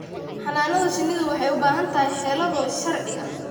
Xannaanada shinnidu waxay u baahan tahay xeelado sharci ah.